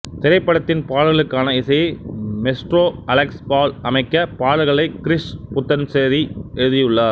திரைப்படத்தின் பாடல்களுக்கான இசையை மெஸ்ட்ரோ அலெக்ஸ் பால் அமைக்க பாடல்களை கிரீஷ் புத்தன்சேரி எழுதியுள்ளார்